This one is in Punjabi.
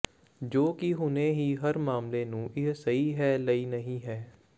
ਜੋ ਕਿ ਹੁਣੇ ਹੀ ਹਰ ਮਾਮਲੇ ਨੂੰ ਇਹ ਸਹੀ ਹੈ ਲਈ ਨਹੀ ਹੈ